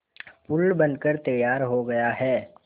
पुल बनकर तैयार हो गया है